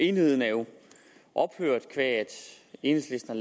enighed er jo ophørt qua at enhedslisten